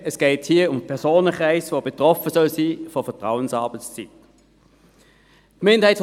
Es geht hier um den Personenkreis, der von der Vertrauensarbeitszeit betroffen sein soll.